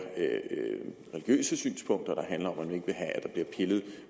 religiøse synspunkter der handler om at man ikke